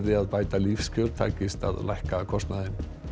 að bæta lífskjör takist að lækka kostnaðinn